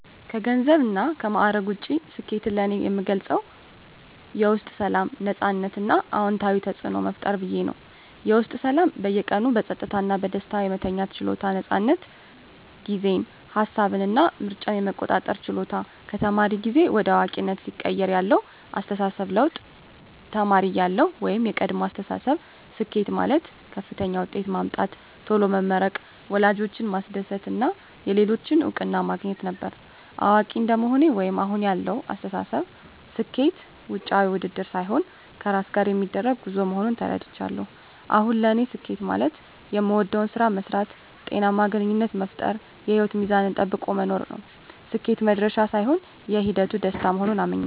ከገንዘብና ከማዕረግ ውጭ፣ ስኬትን እኔ የምገልጸው የውስጥ ሰላም፣ ነፃነት እና አዎንታዊ ተፅዕኖ መፍጠር ብዬ ነው። -የውስጥ ሰላም በየቀኑ በጸጥታ እና በደስታ የመተኛት ችሎታ። ነፃነት ጊዜን፣ ሃሳብን እና ምርጫን የመቆጣጠር ችሎታ -ከተማሪ ጊዜ ወደ አዋቂነት ሲቀየር ያለው አስተሳሰብ ለውጥ -ተማሪ እያለሁ (የቀድሞ አስተሳሰብ)፦ ስኬት ማለት ከፍተኛ ውጤት ማምጣት፣ ቶሎ መመረቅ፣ ወላጆችን ማስደሰት እና የሌሎችን እውቅና ማግኘት ነበር። አዋቂ እንደመሆኔ (አሁን ያለው አስተሳሰብ)፦ ስኬት ውጫዊ ውድድር ሳይሆን ከራስ ጋር የሚደረግ ጉዞ መሆኑን ተረድቻለሁ። አሁን ለኔ ስኬት ማለት የምወደውን ስራ መስራት፣ ጤናማ ግንኙነት መፍጠር፣ እና የህይወት ሚዛንን ጠብቆ መኖር ነው። ስኬት "መድረሻ" ሳይሆን የሂደቱ ደስታ መሆኑን አምኛለሁ። -